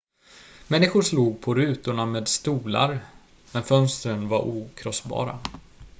människor slog på rutorna med stolar men fönstren var okrossbara